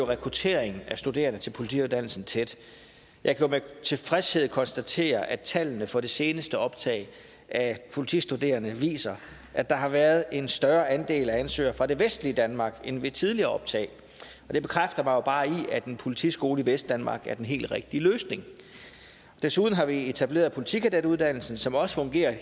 rekrutteringen af studerende til politiuddannelsen tæt jeg kan med tilfredshed konstatere at tallene for det seneste optag af politistuderende viser at der har været en større andel af ansøgere fra det vestlige danmark end ved tidligere optag og det bekræfter mig jo bare i at en politiskole i vestdanmark er den helt rigtige løsning desuden har vi etableret politikadetuddannelsen som også fungerer og